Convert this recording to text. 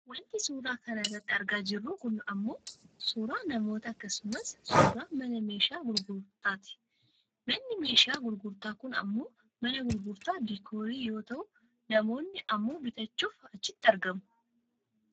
Wanti suuraa kana irratti argaa jirru kun ammoo suuraa namoota akkasumas suuraa mana meeshaa gurgurtaa ti. Manni meeshaa gurgurtaa kun ammoo mana gurgurtaa diikoorii yoo ta'u namoonni ammoo bitachuuf achitti argamu.